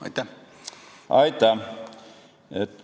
Aitäh!